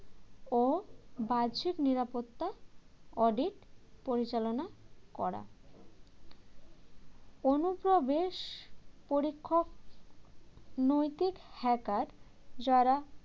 ও বাহ্যিক নিরাপত্তা audit পরিচালনা করা অনুপ্রবেশ পরীক্ষক নৈতিক hacker যারা